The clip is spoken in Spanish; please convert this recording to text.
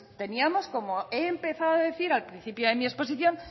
teníamos como he empezado a decir al principio de mi exposición